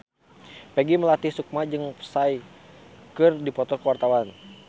Peggy Melati Sukma jeung Psy keur dipoto ku wartawan